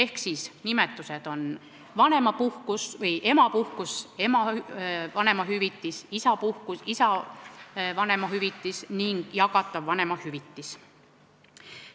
Kasutatud nimetused on vanemapuhkus, emapuhkus, ema vanemahüvitis, isapuhkus, isa vanemahüvitis ning jagatav vanemahüvitis.